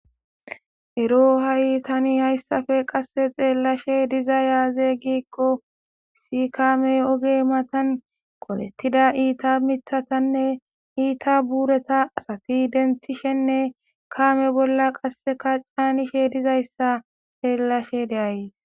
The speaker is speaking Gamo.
Ero ha7i tani hayssafe qasse xeellashe diza yaaze giikqo si kaame oge matan qolettida iita mithatanne iita buureta asati denthishenne kaame bolla qasseka caanishe dizayssa xeellashe deays